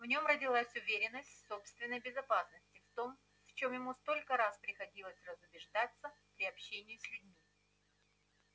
в нём родилась уверенность в собственной безопасности в том в чём ему столько раз приходилось разубеждаться при общении с людьми